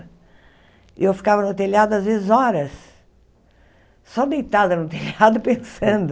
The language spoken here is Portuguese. E eu ficava no telhado às vezes horas, só deitada no telhado pensando.